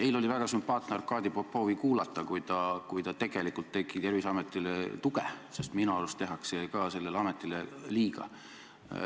Eile oli väga sümpaatne Arkadi Popovi kuulata, kui ta tegelikult andis Terviseametile tuge, sest minu arust tehakse ka sellele ametile liiga.